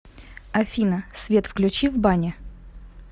афина свет включи в бане